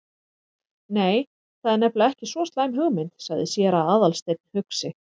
Nei, það er nefnilega ekki svo slæm hugmynd- sagði séra Aðalsteinn hugsi.